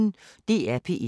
DR P1